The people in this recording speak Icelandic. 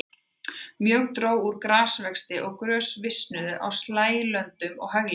Mjög dró úr grasvexti og grös visnuðu á slægjulöndum og haglendi.